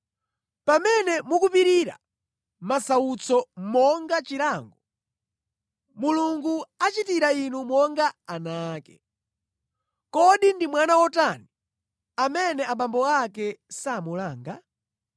Pamene mukupirira masautso monga chilango, Mulungu achitira inu monga ana ake. Kodi ndi mwana wotani amene abambo ake samulanga?